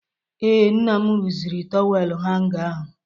Ee, nna m rụziri tọwel hanga ahụ.